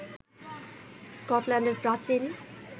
স্কটল্যান্ডের প্রাচীন